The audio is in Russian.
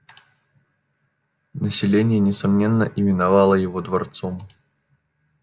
население несомненно именовало его дворцом